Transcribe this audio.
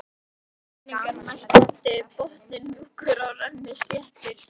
Það voru grynningar næst landi, botninn mjúkur og rennisléttur.